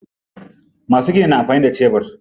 Masu gini na amfani da shebur.